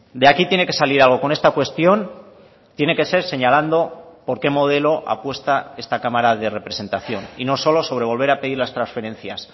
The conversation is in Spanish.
de aquí tiene que salir algo con esta cuestión tiene que ser señalando porque modelo apuesta esta cámara de representación y no solo sobre volver a pedir las transferencias